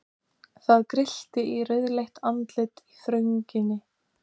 Það grillti í rauðleitt andlit í þrönginni.